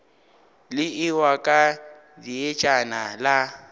le ewa ka dietšana la